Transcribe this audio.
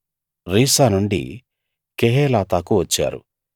రీసా నుండి కెహేలాతాకు వచ్చారు